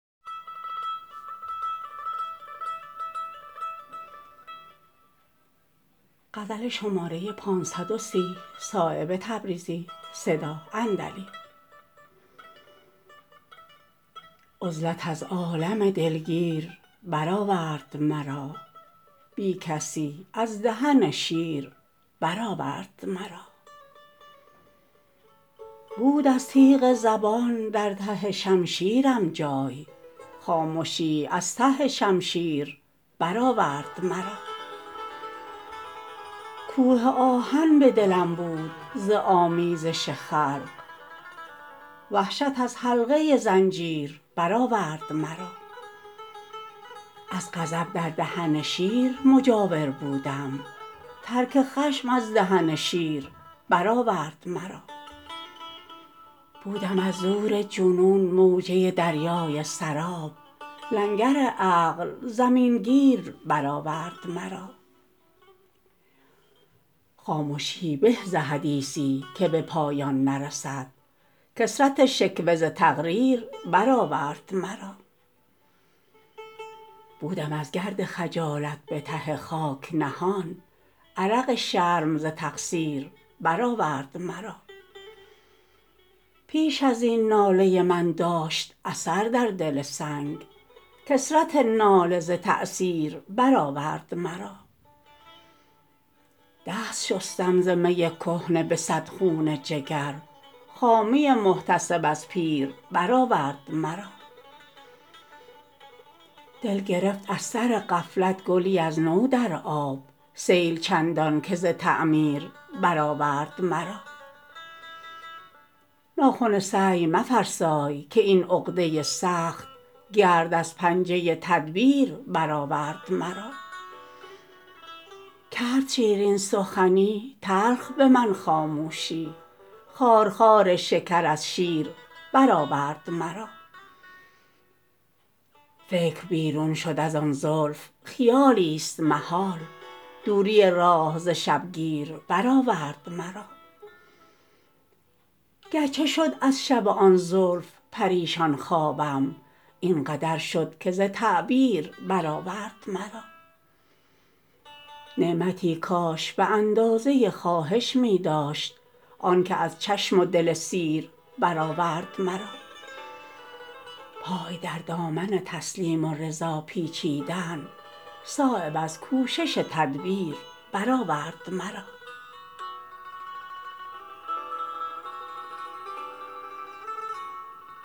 عزلت از عالم دلگیر برآورد مرا بی کسی از دهن شیر برآورد مرا بود از تیغ زبان در ته شمشیرم جای خامشی از ته شمشیر برآورد مرا کوه آهن به دلم بود ز آمیزش خلق وحشت از حلقه زنجیر برآورد مرا از غضب در دهن شیر مجاور بودم ترک خشم از دهن شیر برآورد مرا بودم از زور جنون موجه دریای سراب لنگر عقل زمین گیر برآورد مرا خامشی به ز حدیثی که به پایان نرسد کثرت شکوه ز تقریر برآورد مرا بودم از گرد خجالت به ته خاک نهان عرق شرم ز تقصیر برآورد مرا پیش ازین ناله من داشت اثر در دل سنگ کثرت ناله ز تأثیر برآورد مرا دست شستم ز می کهنه به صد خون جگر خامی محتسب از پیر برآورد مرا دل گرفت از سر غفلت گلی از نو در آب سیل چندان که ز تعمیر برآورد مرا ناخن سعی مفرسای که این عقده سخت گرد از پنجه تدبیر برآورد مرا کرد شیرین سخنی تلخ به من خاموشی خارخار شکر از شیر برآورد مرا فکر بیرون شد ازان زلف خیالی است محال دوری راه ز شبگیر برآورد مرا گرچه شد از شب آن زلف پریشان خوابم این قدر شد که ز تعبیر برآورد مرا نعمتی کاش به اندازه خواهش می داشت آن که از چشم و دل سیر برآورد مرا پای در دامن تسلیم و رضا پیچیدن صایب از کوشش تدبیر برآورد مرا